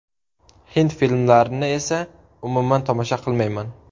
Hind filmlarini esa umuman tomosha qilmayman.